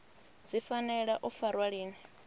dzi fanela u farwa lini